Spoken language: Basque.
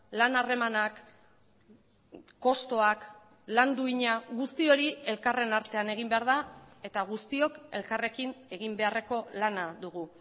lan harremanak kostuak lan duina guzti hori elkarren artean egin behar da eta guztiok elkarrekin egin beharreko lana dugu